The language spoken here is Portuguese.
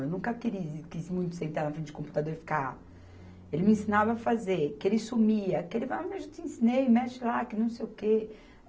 Eu nunca quis muito sentar na frente de computador e ficar. Ele me ensinava a fazer, que ele sumia, que ele vai mas eu já te ensinei e mexe lá, que não sei o quê.